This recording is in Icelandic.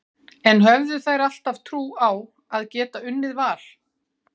En höfðu þær alltaf trú á að geta unnið Val?